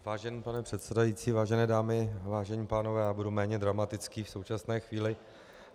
Vážený pane předsedající, vážené dámy, vážení pánové, já budu méně dramatický v současné chvíli.